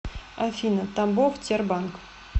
афина тамбов тербанк